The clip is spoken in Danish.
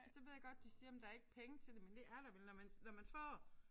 Og så ved jeg godt de siger jamen der ikke penge til det men det er der vel når man når man får